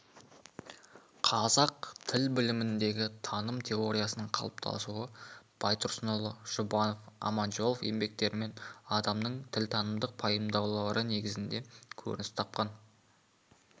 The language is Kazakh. қазақ тіл біліміндегі таным теориясының қалыптасуы байтұрсынұлы жұбанов аманжолов еңбектерінен адамның тілтанымдық пайымдаулары негізінде көрініс тапқан